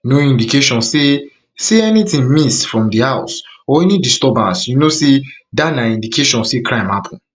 no indication say anytin say anytin miss from di house or any disturbance you know say dat na indication say crime happun